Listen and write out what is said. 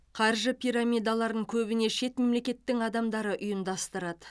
қаржы пирамидаларын көбіне шет мемлекеттің адамдары ұйымдастырады